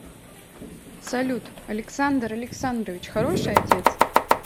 салют александр александрович хороший отец